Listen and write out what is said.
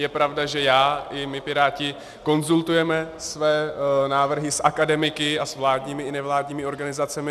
Je pravda, že já i my Piráti konzultujeme své návrhy s akademiky a s vládními i nevládními organizacemi.